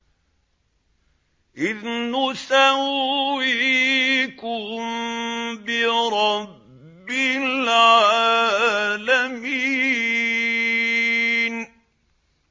إِذْ نُسَوِّيكُم بِرَبِّ الْعَالَمِينَ